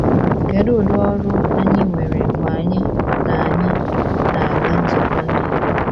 Kedu udị ọrụ anyị nwere mgbe anyị na - anyị na - aga nzukọ Ndị Igbo?